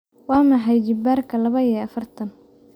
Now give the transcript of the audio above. waa maxay jibbaarka laba iyo afartan